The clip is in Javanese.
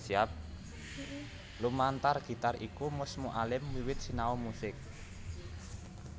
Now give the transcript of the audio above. Lumantar gitar iku Mus Mualim wiwit sinau musik